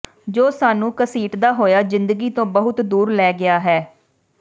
ਜੋ ਸਾਨੂੰ ਘਸੀਟਦਾ ਹੋਇਆ ਜ਼ਿੰਦਗੀ ਤੋਂ ਬਹੁਤ ਦੂਰ ਲੈ ਗਿਆ ਹੈ